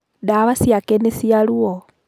Ndawa ciake nĩ cia ruo.